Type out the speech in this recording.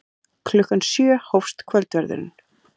Klukkan sjö hófst kvöldverðurinn.